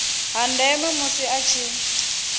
ha ndeme musi a tshi